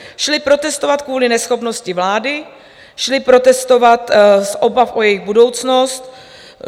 Šli protestovat kvůli neschopnosti vlády, šli protestovat z obav o jejich budoucnost.